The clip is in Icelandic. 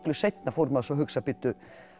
seinna fór maður svo að hugsa bíddu